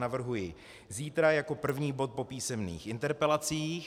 Navrhuji zítra jako první bod po písemných interpelacích.